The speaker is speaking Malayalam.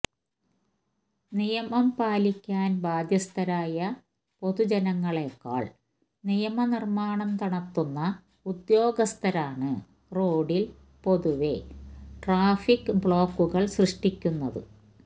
നിയമം പാലിക്കാന് ബാധ്യസ്ഥരായ പൊതുജനങ്ങളെക്കാള് നിയമ നിര്മ്മാണം നടത്തുന്ന ഉദ്യോഗസ്ഥരാണ് റോഡില് പൊതുവെ ട്രാഫിക് ബ്ലോക്കുകള് സൃഷ്ടിക്കുന്നത്